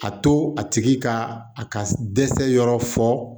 A to a tigi ka a ka dɛsɛ yɔrɔ fɔ